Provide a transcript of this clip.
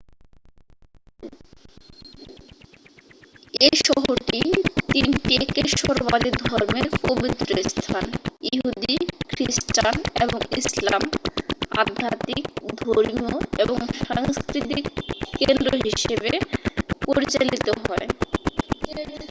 এই শহরটি তিনটি একেশ্বরবাদী ধর্মের পবিত্রস্থান ইহুদি খ্রিস্টান এবং ইসলাম আধ্যাত্মিক ধর্মীয় এবং সাংস্কৃতিক কেন্দ্র হিসাবে পরিচালিত হয়